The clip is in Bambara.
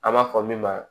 An b'a fɔ min ma